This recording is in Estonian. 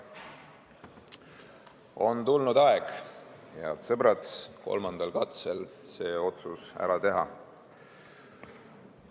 On tulnud aeg, head sõbrad, kolmandal katsel see otsus ära teha.